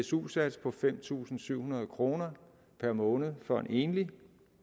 su sats på fem tusind syv hundrede kroner per måned for en enlig